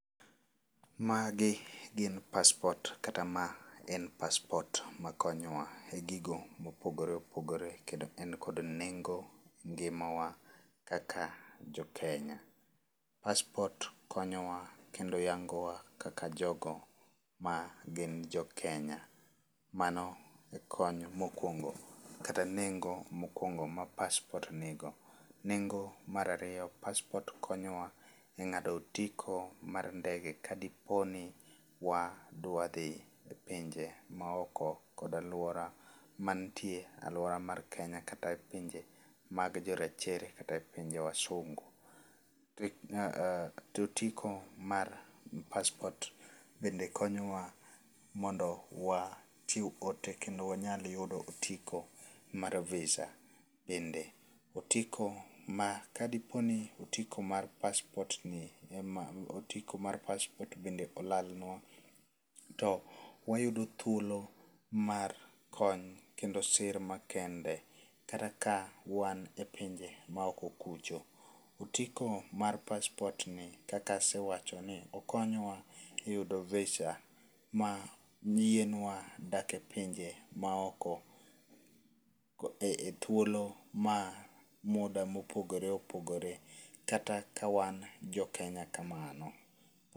Magi gin passport kata ma en passport ma konyowa e gigo mopogore opogore kendo en kod nengo ngimawa kaka jo Kenya. Passport konyowa kendo yangowa kaka jogo ma gin jo Kenya. Mano e kony mokwongo kata nengo mokwongo ma passport nigo. Nengo marariyo, passport konyowa e ng'ado otiko mar ndege kadipo ni wadwa dhi e pinje maoko kod alwora mantie alwora mar Kenya kata e pinje mag jorachere kata e pinje jowaungu. To otiko mar passport be konyowa mondo wachiw ote kendo wanyal yudo otiko mar VISA. Bende otiko ma kadiponi otiko mar passport ni ema, otiko mar passport bende olalnwa, to wayudo thuolo mar kony kendo sir makende kata ka wan e pinje maoko kucho. Otiko mar passport ni kakasewachoni okonyowa e yudo VISA ma yienwa dake pinje maoko e thuolo ma muda mopogore opogore kata ka wan jo Kenya kamano.